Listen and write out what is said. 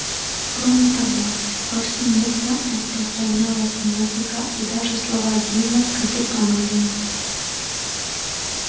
кроме того повсеместно распространялась музыка и даже слова гимна скоты англии